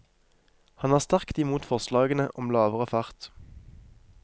Han er sterkt imot forslagene om lavere fart.